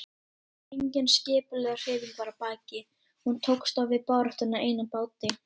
Engin skipulögð hreyfing var að baki, hún tókst á við baráttuna ein á báti.